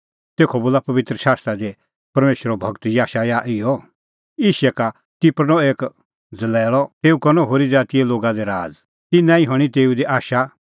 तेखअ बोला पबित्र शास्त्रा दी परमेशरो गूर याशायाह इहअ यिशै का टिरखणअ एक ज़लैल़अ तेऊ करनअ होरी ज़ातीए लोगा दी राज़ तिन्नां हणीं तेऊ दी आशा